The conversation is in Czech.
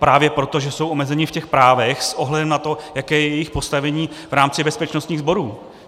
Právě proto, že jsou omezeni v těch právech s ohledem na to, jaké je jejich postavení v rámci bezpečnostních sborů.